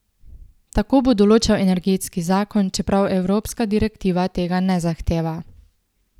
Tako bo določal energetski zakon, čeprav evropska direktiva tega ne zahteva.